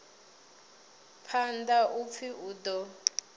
phanḓa u pfi u ḓo